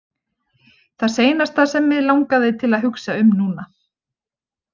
Það seinasta sem mig langaði til að hugsa um núna.